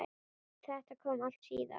Þetta kom allt síðar.